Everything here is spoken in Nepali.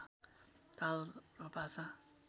ताल र भाषा